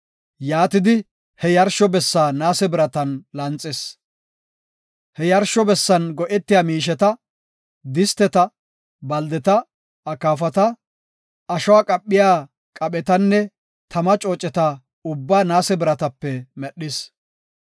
He yarsho bessan go7etiya miisheta, disteta, baldeta, akaafata, ashuwa qaphiya qaphetanne tama cooceta ubbaa naase biratape medhis.